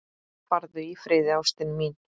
Farðu í friði, ástin mín.